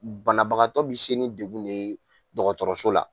Banabagatɔ bɛ se ni degun de ye dɔgɔtɔrɔso la.